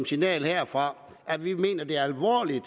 signal herfra at vi mener de alvorligt